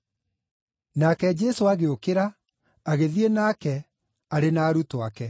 Nake Jesũ agĩũkĩra, agĩthiĩ nake, arĩ na arutwo ake.